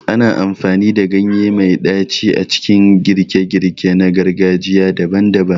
Ana amfani da ganye mai ɗaci a cikin girke-girke na gargajiya daban-daban.